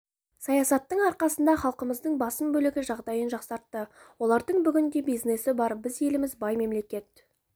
саясаттың арқасында халқымыздың басым бөлігі жағдайын жақсартты олардың бүгінде бизнесі бар біз еліміз бай мемлекет